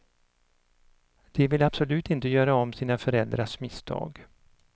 De vill absolut inte göra om sina föräldrars misstag.